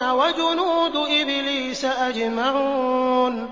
وَجُنُودُ إِبْلِيسَ أَجْمَعُونَ